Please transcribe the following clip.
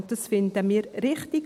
Dies finden wir richtig.